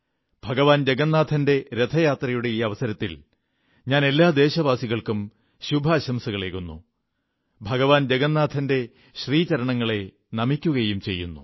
ഭഗവാൻ ജഗന്നാഥന്റെ രഥയാത്രയുടെ ഈ അവസരത്തിൽ ഞാൻ എല്ലാ ദേശവാസികൾക്കും ശുഭാശംസകളേകുന്നു ഭഗവൻ ജഗന്നാഥന്റെ ശ്രീചരണങ്ങളെ നമിക്കുകയും ചെയ്യുന്നു